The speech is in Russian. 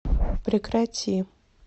прекрати